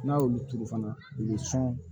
N'a y'olu turu fana u bɛ sɔn